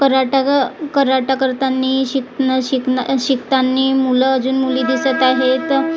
karate ग कराटा करतानी शिक न शिक न शिक न शिकतानी मुलं अजून मुली दिसत आहेत अ--